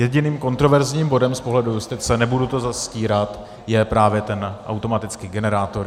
Jediným kontroverzním bodem z pohledu justice, nebudu to zastírat, je právě ten automatický generátor.